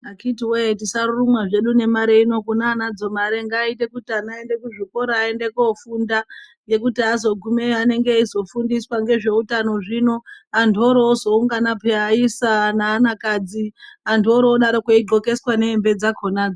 Akiti wee tisarurumwe hedu ngemare kune anadzo mare ngaaite kuti ana aende kuzvikora aende kofunda ngekuti azogumeyo anenge eizofundiswe ngezveutano zvino antu oroozoungana peya aisa neana kadzi antu oroozodaro eidxokeswa nehembe dzakonadzo.